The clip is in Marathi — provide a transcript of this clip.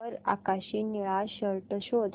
वर आकाशी निळा शर्ट शोध